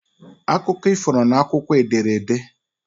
Akụkọ ifo nọ n'akwụkwọ ederede